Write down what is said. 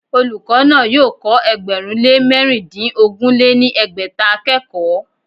Olùkọ́ náà yóò kọ́ ẹgbẹ̀rún lé mẹ̀rindínogún lé ní ẹgbẹ́ta akẹ́kọ̀ọ́